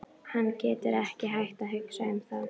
Hann getur ekki hætt að hugsa um það.